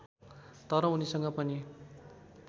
तर उनीसँग पनि